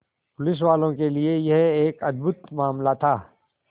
पुलिसवालों के लिए यह एक अद्भुत मामला था